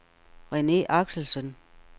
Rene Axelsen